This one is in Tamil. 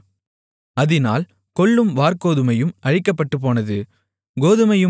கோதுமையும் கம்பும் கதிர்விடாமல் இருந்ததால் அவைகள் அழிக்கப்படவில்லை